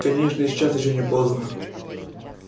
конечно и сейчас ещё не поздно